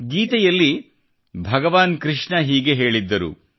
ಗೀತೆಯಲ್ಲಿ ಭಗವಾನ್ ಕೃಷ್ಣ ಹೀಗೆ ಹೇಳಿದ್ದರು